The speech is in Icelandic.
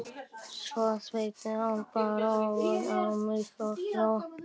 Svo settist hann bara ofan á mig og hló.